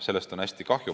Sellest on hästi kahju.